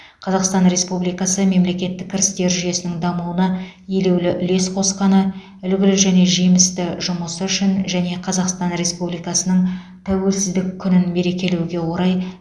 қазақстан республикасы мемлекеттік кірістер жүйесінің дамуына елеулі үлес қосқаны үлгілі және жемісті жұмысы үшін және қазақстан республикасының тәуелсіздік күнін мерекелеуге орай